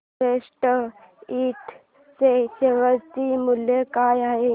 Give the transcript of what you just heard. Everest Ind च्या share चे मूल्य काय आहे